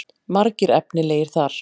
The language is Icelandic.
Margir efnilegir þar.